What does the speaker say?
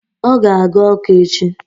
Ọ ga-aga Ọka echi.